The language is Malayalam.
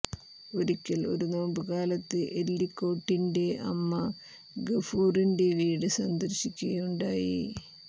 ഒരിക്കൽ ഒരു നോമ്പ് കാലത്ത് എല്ലിക്കോട്ടിന്റെ അമ്മ ഗഫൂറിന്റെ വീട് സന്ദർശിക്കുകയുണ്ടായി